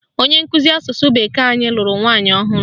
Onye nkụzi asụsụ bekee anyị lụrụ nwaanyị ọhụrụ